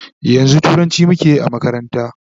yanzun turanci muke Yi a makaranta